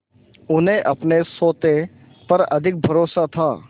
उन्हें अपने सोटे पर अधिक भरोसा था